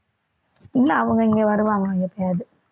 இல்லை அவங்க இங்க வருவாங்க எப்பயாவது